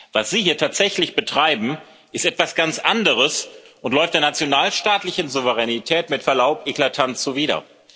Was Sie hier tatsächlich betreiben, ist etwas ganz anderes und läuft der nationalstaatlichen Souveränität mit Verlaub eklatant zuwider.